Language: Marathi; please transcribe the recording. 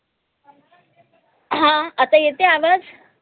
हं आता येते आय आवाज